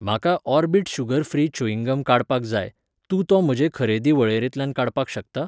म्हाका Orbit sugar free chewing gum काडपाक जाय, तूं तो म्हजे खरेदी वळेरेंतल्यान काडपाक शकता?